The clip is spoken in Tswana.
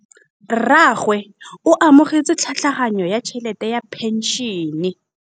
Rragwe o amogetse tlhatlhaganyô ya tšhelête ya phenšene.